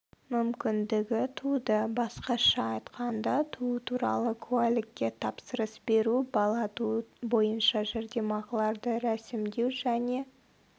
мүмкіндігі туды басқаша айтқанда туу туралы куәлікке тапсырыс беру бала туу бойынша жәрдемақыларды рәсімдеу және